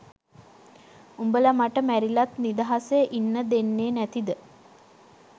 උඹල මට මැරිලත් නිදහසේ ඉන්න දෙන්නේ නැතිද?